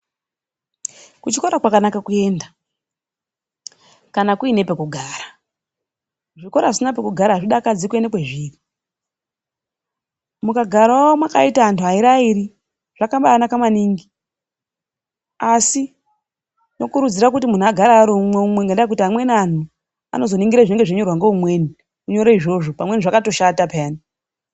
Kuchikora kwakanaka kuenda, kana kuine pekugara. Zvikora zvisina pekugara azvidakadzi kuenda kwezviri. Mukagarawo makaita anhu airi airi, zvakabaanaka maningi. Asi tinokurudzira kuti muntu agare ari umwe umwe, ngendaa yekuti amweni anhu anozoningire zvinenge zveinyorwa ngeumweni, kunyore izvozvo pamweni zvakatoshata peyani.